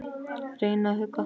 Reyna að hugga.